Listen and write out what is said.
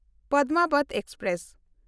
Padmavat express